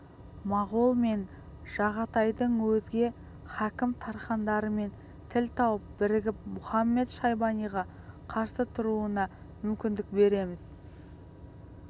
моғол мен жағатайдың өзге хакім тархандарымен тіл тауып бірігіп мұхамед-шайбаниға қарсы тұруына мүмкіндік береміз